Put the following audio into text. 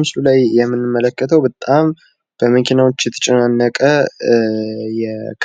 ምስሉ ላይ የምንመለከተው በመኪናዎች የተጨናነቀ